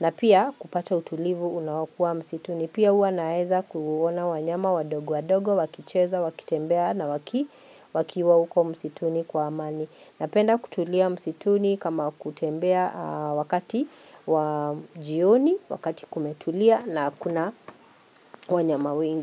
na pia kupata utulivu unaokuwa msituni. Pia huwa naweza kuona wanyama wadogo wadogo, wakicheza, wakitembea na wakiwa huko msituni kwa amani. Napenda kutulia msituni kama kutembea wakati wa jioni, wakati kumetulia na hakuna wanyama wengi.